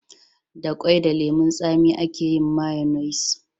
Da kwai da lemun tsami a ke yin mayonis